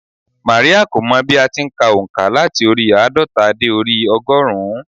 Máríà kò mọ bí a ti n ka ònkà láti orí i àádọ́ta dé orí i ọgọ́rùn-ún